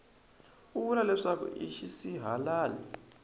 u vula leswaku i xisihalali